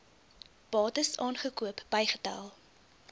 bates aangekoop bygetel